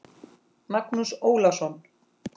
Magnús Ólason.